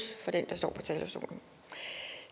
for den der står på talerstolen